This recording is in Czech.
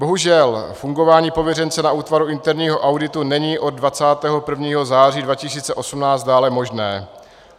Bohužel fungování pověřence na útvaru interního auditu není od 21. září 2018 dále možné.